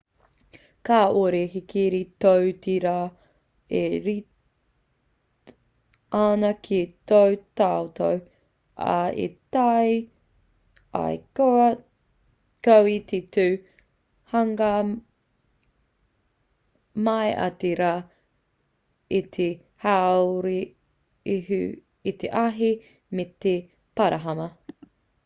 kāore he kiri tō te rā e rite ana ki tō tātou ao e taea ai koe te tū hangaia mai ai te rā i te haurehu i te ahi me te parahama